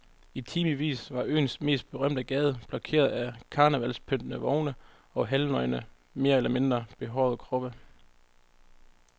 I timevis var øens mest berømte gade blokeret af karnevalspyntede vogne og halvnøgne mere eller mindre behårede kroppe.